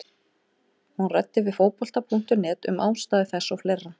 Hún ræddi við Fótbolta.net um ástæður þess og fleira.